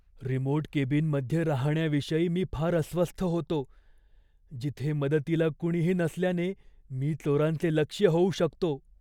Remote केबिनमध्ये राहण्याविषयी मी फार अस्वस्थ होतो, जिथे मदतीला कुणीही नसल्याने मी चोरांचे लक्ष्य होऊ शकतो.